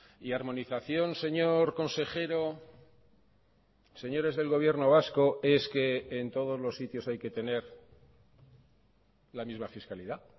y armonización señor consejero señores del gobierno vasco es que en todos los sitios hay que tener la misma fiscalidad